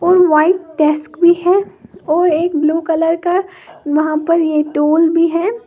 और white desk भी है और एक ब्ल्यू कलर का यहां पर ये टोल भी है।